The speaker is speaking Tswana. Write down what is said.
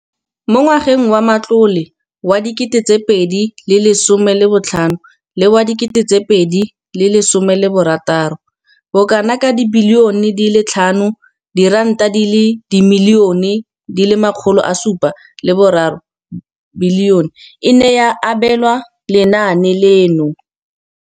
Mo ngwageng wa matlole wa 2015,16, bokanaka R5 703 bilione e ne ya abelwa lenaane leno.